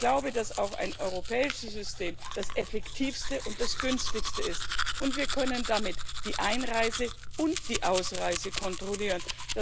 Ich glaube, dass ein europäisches System auch das effektivste und das günstigste ist und wir können damit die Einreise und die Ausreise kontrollieren.